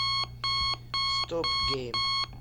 стоп гейм